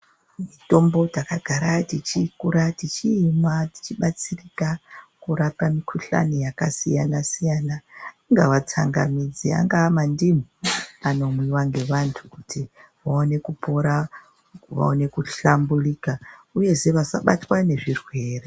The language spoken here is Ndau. Mitombo takagara tichikura tichiimwa tichibatsirika kurapa mikhuhlani yakasiyana siyana. Ingava tsangamidzi, angava mandimu anomwiwa ngevantu kuti vaone kupora vaone kuhlamburika uyezve kuti vasabatwa ngezvirwere.